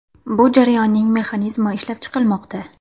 Bu jarayonning mexanizmi ishlab chiqilmoqda.